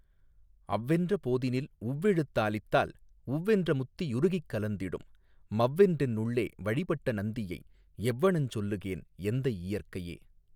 அவ்வென்ற போதினில் உவ்வெழுத்தாலித்தால் உவ்வென்ற முத்தி யுருகிக்கலந்திடும் மவ்வென்றென்னுள்ளே வழிபட்ட நந்தியை எவ்வணஞ் சொல்லுகேன் எந்தை இயற்கையே.